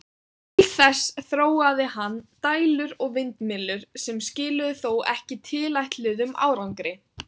Til þess þróaði hann dælur og vindmyllur, sem skiluðu þó ekki tilætluðum árangri.